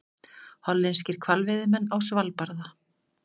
Hollenskir hvalveiðimenn á Svalbarða.